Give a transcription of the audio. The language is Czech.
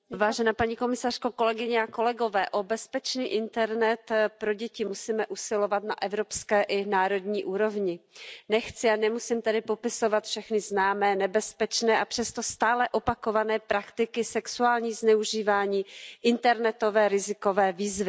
Paní předsedající, o bezpečný internet pro děti musíme usilovat na evropské i národní úrovni. Nechci a nemusím tady popisovat všechny známé nebezpečné, a přesto stále opakované praktiky, sexuální zneužívání, internetové rizikové výzvy.